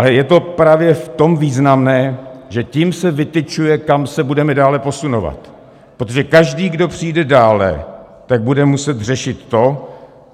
Ale je to právě v tom významné, že tím se vytyčuje, kam se budeme dále posunovat, protože každý, kdo přijde dále, tak bude muset řešit to,